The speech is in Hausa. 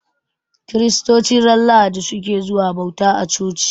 Kiristoci ranar Lahadi su ke zuwa bauta a coci.